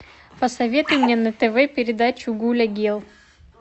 посоветуй мне на тв передачу гуля герл